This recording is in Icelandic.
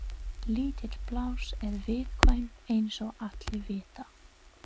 Lítil pláss eru viðkvæm eins og allir vita.